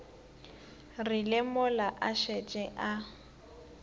rile mola a šetše a